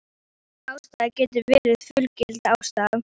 Engin ástæða getur verið fullgild ástæða.